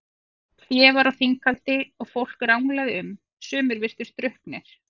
Hlé var á þinghaldi og fólk ranglaði um, sumir virtust drukknir.